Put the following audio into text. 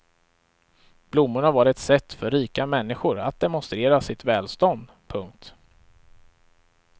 Blommorna var ett sätt för rika människor att demonstrera sitt välstånd. punkt